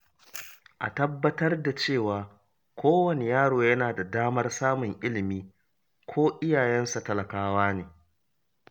A tabbatar da cewa kowane yaro yana da damar samun ilimi ko iyayensa talakawa ne